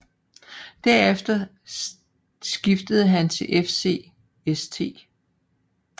Derefter skiftede han til FC St